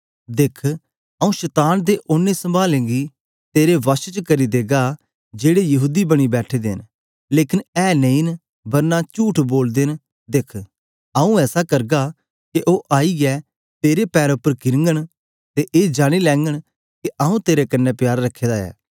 दिख आऊँ शतान दे ओनें सभाआलें गी तेरे वश च करी देगा जेड़े यहूदी बनी बैठे दे न लेकन ऐ नेई न बरना चुठ बोलदे नदिख आऊँ ऐसा करगा के ओ आईयै तेरे पैरें उपर धीरघंन ते ए जानी लेंघन के आऊँ तेरे कन्ने प्यार रखे दा ऐ